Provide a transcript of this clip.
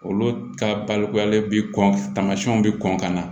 Olu ka balikuyalen bɛ kɔn tamasiyɛnw bɛ kɔn ka na